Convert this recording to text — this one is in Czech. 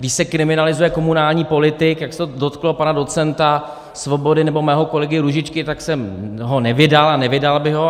Když se kriminalizuje komunální politik, jak se to dotklo pana docenta Svobody nebo mého kolegy Růžičky, tak jsem ho nevydal a nevydal bych ho.